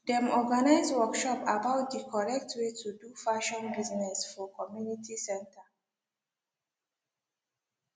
dem organise workshop about the correct way to do fashion business for community center